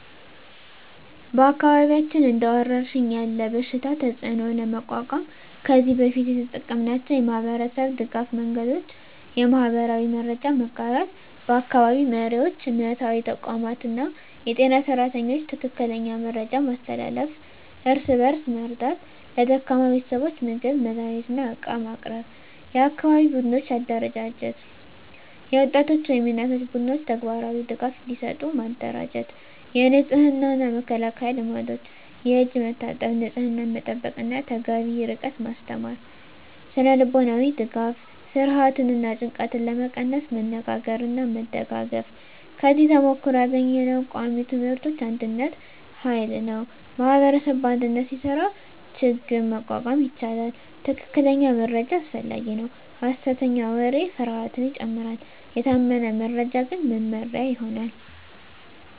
በአካባቢያችን እንደ ወረሽኝ ያለ በሽታ ተፅዕኖ ለመቋቋም ከዚህ በፊት የተጠቀምናቸው የማህበረሰብ ድገፍ መንገዶች :- የማህበራዊ መረጃ መጋራት በአካባቢ መሪዎች፣ እምነታዊ ተቋማት እና የጤና ሰራተኞች ትክክለኛ መረጃ ማስተላለፍ። እርስ በእርስ መርዳት ለደካማ ቤተሰቦች ምግብ፣ መድሃኒት እና ዕቃ ማቅረብ። የአካባቢ ቡድኖች አደራጀት የወጣቶች ወይም የእናቶች ቡድኖች ተግባራዊ ድጋፍ እንዲሰጡ ማደራጀት። የንጽህና እና መከላከያ ልምዶች የእጅ መታጠብ፣ ንጽህና መጠበቅ እና ተገቢ ርቀት ማስተማር። ስነ-ልቦናዊ ድጋፍ ፍርሃትን እና ጭንቀትን ለመቀነስ መነጋገርና መደጋገፍ። ከዚህ ተሞክሮ ያገኘነው ቃሚ ትምህርቶች አንድነት ኃይል ነው ማኅበረሰብ በአንድነት ሲሰራ ችግኝ መቋቋም ይቻላል። ትክክለኛ መረጃ አስፈላጊ ነው ሐሰተኛ ወሬ ፍርሃትን ይጨምራል፤ የታመነ መረጃ ግን መመሪያ ይሆናል።